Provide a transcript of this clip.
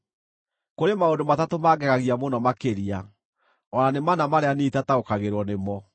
“Kũrĩ maũndũ matatũ mangegagia mũno makĩria, o na nĩ mana marĩa niĩ itakuũkagĩrwo nĩmo: